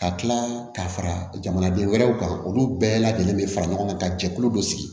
Ka tila ka fara jamanaden wɛrɛw kan olu bɛɛ lajɛlen bɛ fara ɲɔgɔn kan ka jɛkulu dɔ sigi